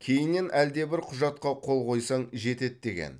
кейіннен әлдебір құжатқа қол қойсаң жетеді деген